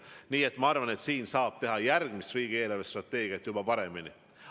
Nii et ma arvan, et järgmist riigi eelarvestrateegiat saab juba paremini teha.